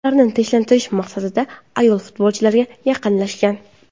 Ularni tinchlantirish maqsadida ayol futbolchilarga yaqinlashgan.